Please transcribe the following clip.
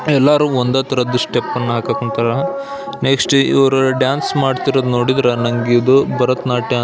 ಎಲ್ಲರೂ ಒಂದೇ ತರದ ಸ್ಟೆಪ್ ಅನ್ನು ಹಾಕ ಕುಂತಾರ ನೆಕ್ಸ್ಟ್ ಇವ್ರು ಡಾನ್ಸ್ ಮಾಡ್ತಿರೋದು ನೋಡಿದರೆ ನನಗ್ ಇದು ಭರತನಾಟ್ಯ --